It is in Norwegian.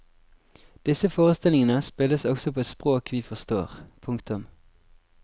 Disse forestillingene spilles også på et språk vi forstår. punktum